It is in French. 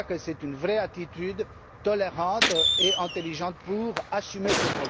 Je crois que c'est une vraie attitude tolérante et intelligente pour assumer ce